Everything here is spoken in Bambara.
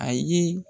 A ye